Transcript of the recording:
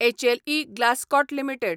HLE Glascoat limited